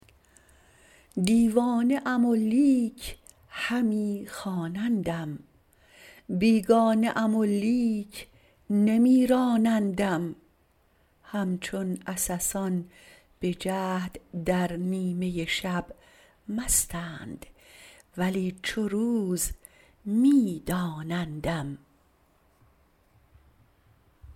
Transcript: دیوانه ام و لیک همی خوانندم بیگانه ام ولیک نمیرانندم همچون عسسان بجهد در نیمه شب مستند ولی چو روز میدانندم